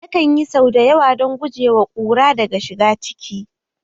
Nakan yi sau da yawa don guje wa kura daga shiga ciki